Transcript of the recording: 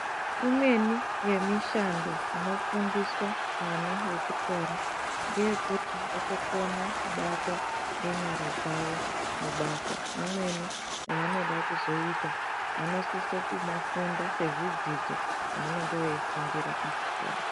Imweni yemishando inofundiswa vana vechikoro ndeyekuti vagogone kubata nenyara dzavo mabasa amweni avanoda kuzoita vanosisa kumafunda sezvidzidzo zvavanenge vachifundira pachikoro.